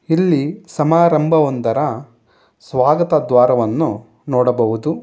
ಇಲ್ಲಿ ಸಮಾರಂಭ ಒಂದರ ಸ್ವಾಗತ ದ್ವಾರವನ್ನು ನೋಡಬಹುದು.